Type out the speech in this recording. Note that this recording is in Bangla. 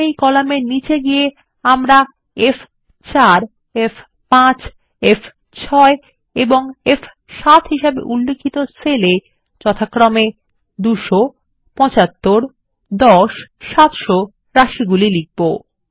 এখন এই কলামের নিচে গিয়ে আমরা ফ4 ফ5 ফ6 এবং F7 হিসাবে উল্লিখিত সেল এ যথাক্রমে 200 75 10 এবং700 রাশি লিখব